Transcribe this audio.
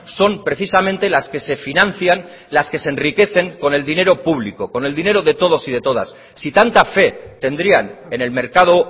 son precisamente las que se financian las que se enriquecen con el dinero público con el dinero de todos y de todas si tanta fe tendrían en el mercado